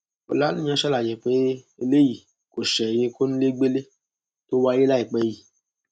ọlàníyàn ṣàlàyé pé eléyìí kò ṣẹyìn kónílégbélé tó wáyé láìpẹ yìí